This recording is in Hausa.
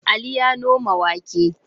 Ali ya noma wake.